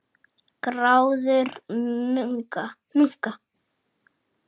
Gráður munka